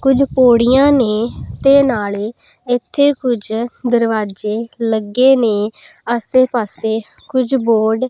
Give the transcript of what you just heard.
ਕੁਝ ਪੌੜੀਆਂ ਨੇ ਤੇ ਨਾਲੇ ਇੱਥੇ ਕੁਝ ਦਰਵਾਜ਼ੇ ਲੱਗੇ ਨੇ ਆਸੇ ਪਾਸੇ ਕੁਝ ਬੋਡ --